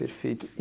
Perfeito.